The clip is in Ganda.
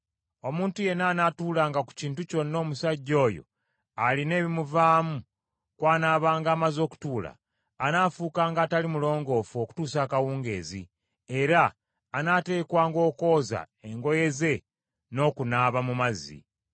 Omuntu yenna anaatuulanga ku kintu kyonna omusajja oyo alina ebimuvaamu kw’anaabanga amaze okutuula, anaafuukanga atali mulongoofu okutuusa akawungeezi, era anaateekwanga okwoza engoye ze n’okunaaba mu mazzi.